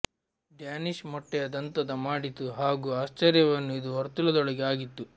ಡ್ಯಾನಿಶ್ ಮೊಟ್ಟೆಯ ದಂತದ ಮಾಡಿತು ಹಾಗೂ ಆಶ್ಚರ್ಯವನ್ನು ಇದು ವರ್ತುಲದೊಳಗೆ ಆಗಿತ್ತು